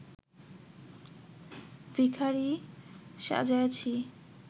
ভিখারী সাজাইয়াছি